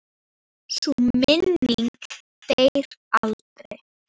Sú minning deyr aldrei.